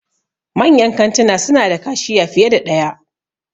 Manyan kantuna suna da kashiya fiye da ɗaya.